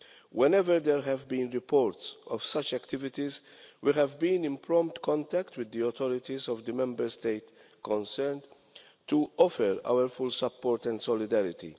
Whenever there have been reports of such activities, we have been in prompt contact with the authorities of the Member State concerned to offer our full support and solidarity.